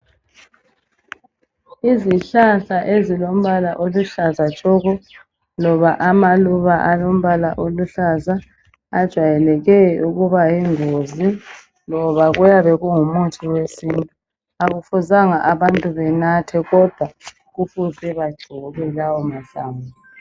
Izihlahla ezilombala oluhlaza tshoko poba amaluba alombala oluhlaza ajwayeleke ukuba yingozi loba kuyabe kungumuthi wesintu. Akufuzanga abantu benathe kodwa kufuze bagcobe lawo mahlamvu.